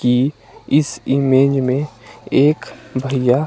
कि इस इमेज में एक भइया --